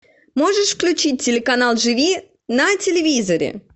можешь включить телеканал живи на телевизоре